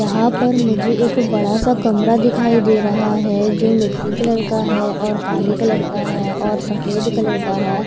यहां पर मुझे एक बड़ा सा कमरा दिखाई दे रहा है जो मिट्टी कलर का है और काले कलर का है और सफेद कलर का है।